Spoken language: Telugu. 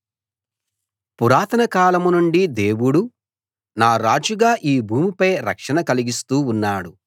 పురాతన కాలం నుండీ దేవుడు నా రాజుగా ఈ భూమిపై రక్షణ కలిగిస్తూ ఉన్నాడు